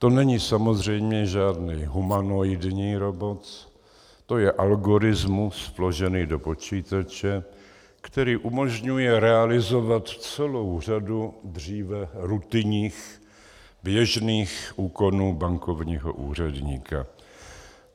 To není samozřejmě žádný humanoidní robot, to je algoritmus vložený do počítače, který umožňuje realizovat celou řadu dříve rutinních, běžných úkonů bankovního úředníka.